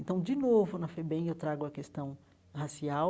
Então, de novo, na FEBEM, eu trago a questão racial,